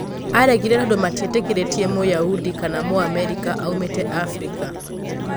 " Aregire tondũ matiĩtĩkĩrĩtie Mũyahudi kana Mũamerika aumĩte Afirika."